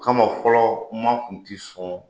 Kama fɔlɔ maa kun ti sɔn